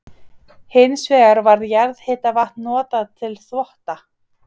Hins vegar var jarðhitavatn notað til þvotta.